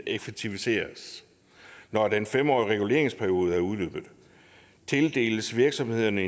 effektivisere når den fem årige reguleringsperiode er udløbet tildeles virksomhederne